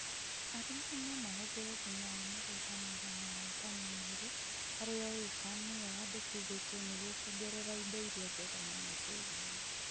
Arĩmi no mahũthĩre thumu wa mũgũnda mũigana wa wa tani igĩrĩ harĩ o ĩka nĩyo yandĩkithĩtio nĩguo kuongerera indo iria njega mũno tĩĩrinĩ